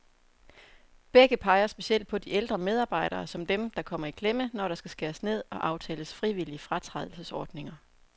Begge peger specielt på de ældre medarbejdere, som dem, der kommer i klemme, når der skal skæres ned og aftales frivillige fratrædelsesordninger.